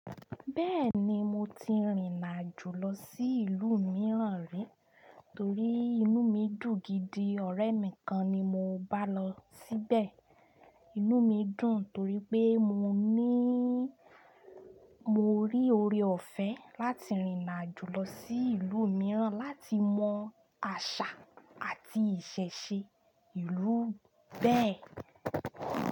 Bẹ́ẹ̀ni, mo ti rìnàjù lọ sí ìlú mìíràn rí torí inú mi dùn gidi. Ọ̀rẹ́ mi kan ni mo bá lọ síbẹ̀. Inú mi dùn torí pé mo ní mo rí oore-ọ̀fẹ́ láti rìnàjù lọ sí ìlú mìíràn láti mọ àṣà àti ìṣẹ̀ṣe ìlú bẹ́ẹ̀.